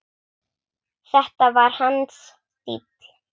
Þetta var hans stíll.